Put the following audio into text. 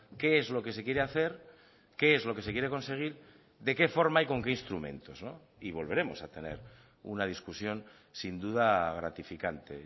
qué es lo que se quiere hacer qué es lo que se quiere conseguir de qué forma y con qué instrumentos no y volveremos a tener una discusión sin duda gratificante